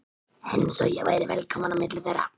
Eins og ég væri velkominn á milli þeirra.